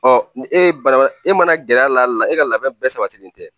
Ɔ ni e ye bana e mana gɛr'a la e ka labɛn bɛɛ sabatilen tɛ